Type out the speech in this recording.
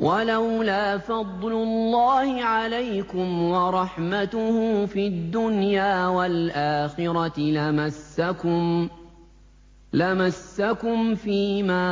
وَلَوْلَا فَضْلُ اللَّهِ عَلَيْكُمْ وَرَحْمَتُهُ فِي الدُّنْيَا وَالْآخِرَةِ لَمَسَّكُمْ فِي مَا